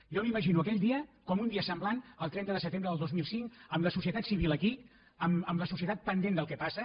jo m’imagino aquell dia com un dia semblant al trenta de setembre del dos mil cinc amb la societat civil aquí amb la societat pendent del que passa